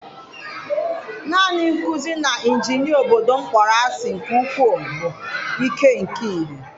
Naanị nkuzi na injinia obodo m kpọrọ asị nke ukwuu bụ ike nke ihe.